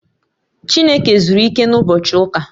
Chineke zuru ike na ụbochị ụka